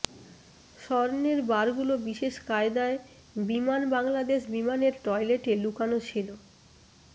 স্বর্ণের বারগুলো বিশেষ কায়দায় বিমান বাংলাদেশ বিমানের টয়লেটে লুকানো ছিল